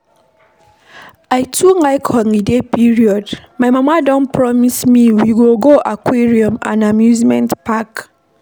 I too like holiday period. My mama don promise me we go visit aquarium and amusement park.